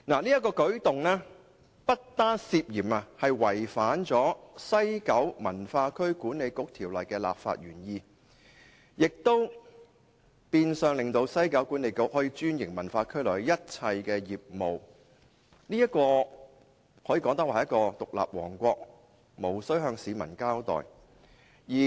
此舉不但涉嫌違反《西九文化區管理局條例》的立法原意，亦變相令西九管理局可專營文化區內的一切業務，儼如獨立王國，無須向市民交代。